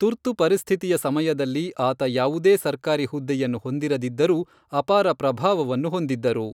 ತುರ್ತು ಪರಿಸ್ಥಿತಿಯ ಸಮಯದಲ್ಲಿ ಆತ ಯಾವುದೇ ಸರ್ಕಾರಿ ಹುದ್ದೆಯನ್ನು ಹೊಂದಿರದಿದ್ದರೂ ಅಪಾರ ಪ್ರಭಾವವನ್ನು ಹೊಂದಿದ್ದರು.